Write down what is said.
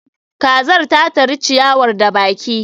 kazar ta tari ciyawar da baki